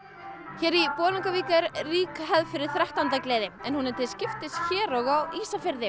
hér í Bolungarvík er rík hefð fyrir þrettándagleði en hún er haldin til skiptis hér og á Ísafirði